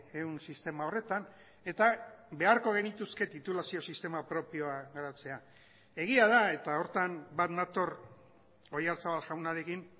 ehun sistema horretan eta beharko genituzke titulazio sistema propioa garatzea egia da eta horretan bat nator oyarzabal jaunarekin